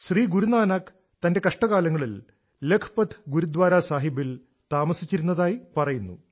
ശ്രീ ഗുരു നാനാക്ക് തന്റെ കഷ്ട കാലങ്ങളിൽ ലഖ്പത് ഗുരുദ്വാര സാഹിബിൽ താമസിച്ചിരുന്നതായി പറയുന്നു